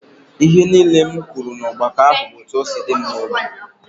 Ihe niile m kwuru n'ọgbakọ ahụ bụ etu ọ si dị m n'obi